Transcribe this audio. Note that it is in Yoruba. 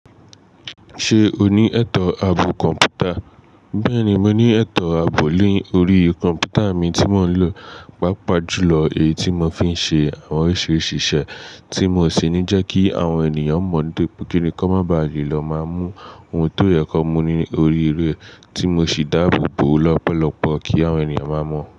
Ṣé o ní ẹ̀tọ́ ààbò kọ̀m̀pútà? Bẹ́ẹ̀ni, mo ní ẹ̀tọ́ ààbò ni órí kọ̀m̀pútà mi tí mò ń lò. Pápa jùlọ, èyí tí mò fi ń ṣe àwọn oríṣiríṣi iṣẹ́ tí mò n ṣe ní jẹ kí àwọn ènìyàn mọ̀ nitori pé kíni ki won má ba le má mú ohun tó yẹ kó mu ní orí ré tí mò sì dáàbò bò ọ̀ lọ́pọ̀lọ́pọ̀ kí àwọn ènìyàn má mọ̀.